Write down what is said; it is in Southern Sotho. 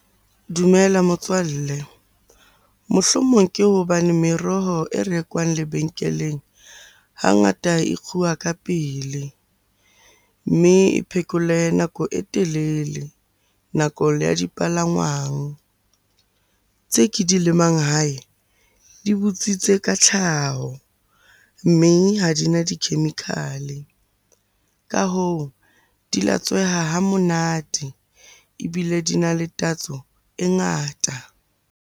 Dumela motswalle. Mohlomong ke hobane meroho e rekwang lebenkeleng hangata e kguwa ka pele, mme e phekole nako e telele nakong ya dipalangwang. Tse ke di lemang hae di butswitse ka tlhaho, mme ha di na di-chemical-e. Ka hoo, di latsweha ha monate ebile di na le tatso e ngata.